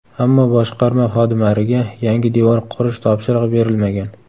Ammo boshqarma xodimariga yangi devor qurish topshirig‘i berilmagan.